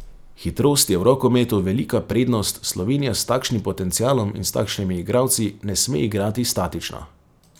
Hitrost je v rokometu velika prednost, Slovenija s takšnim potencialom in s takšnimi igralci ne sme igrati statično.